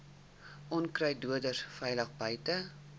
onkruiddoders veilig buite